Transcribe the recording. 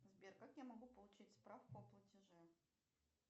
сбер как я могу получить справку о платеже